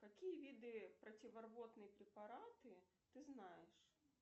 какие виды противорвотные препараты ты знаешь